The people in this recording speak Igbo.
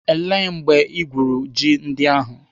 Ele mgbe igwuru ji ndị ahụ?